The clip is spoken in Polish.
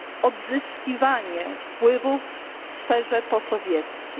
odzyskiwanie wpływów w sferze posowieckiej.